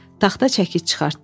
Taxta çəkiç çıxartdı.